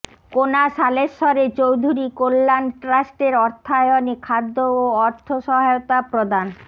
কোনাশালেশ্বরে চৌধুরী কল্যাণ ট্রাষ্টের অর্থায়নে খাদ্য ও অর্থ সহায়তা প্রদান